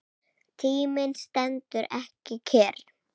Tíminn stendur ekki kyrr.